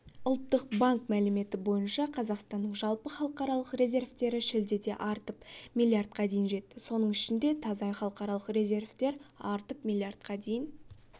ұлттық банк мәліметі бойынша қазақстанның жалпы халықаралық резервтері шілдеде артып миллиардқа дейін жетті соның ішінде таза халықаралық резервтер артып миллиардқа дейін